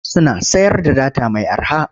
Suna sayar da data mai arha.